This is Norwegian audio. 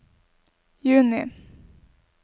juni